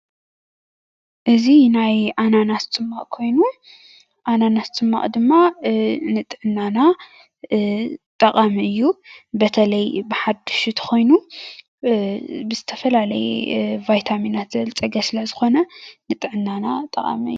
እዚ ናይ አናናስ ፀማቁ ኮይኑ አናናስ ፀማቅ ድማ ንጥዕናና ጠቃሚ እዩ፡፡ በተለይ ብሓዱሹ እንተኮይኑ ብዝተፈላለዩ ቫይታሚናት ዝበልፀገ ስለ ዝኮነ ንጥዕናና ጠቃሚ እዩ፡፡